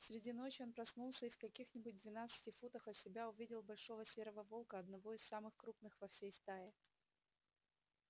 среди ночи он проснулся и в каких нибудь двенадцати футах от себя увидел большого серого волка одного из самых крупных во всей стае